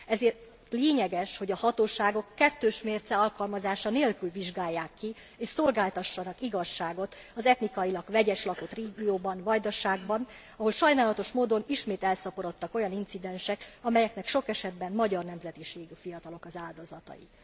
Ezért lényeges, hogy a hatóságok kettős mérce alkalmazása nélkül vizsgálják ki és szolgáltassanak igazságot az etnikailag vegyesen lakott régióban, a Vajdaságban, ahol sajnálatos módon ismét elszaporodtak az olyan incidensek, amelyeknek sok esetben magyar nemzetiségű fiatalok az áldozatai.